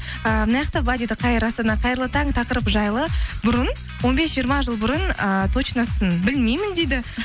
ііі былай дейді қайырлы таң тақырып жайлы бұрын он бес жиырма жыл бұрын ыыы точносын білмеймін дейді